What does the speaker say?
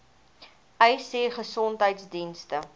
uys sê gesondheidsdienste